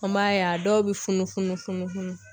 An b'a ye a dɔw bɛ funun funun funun funun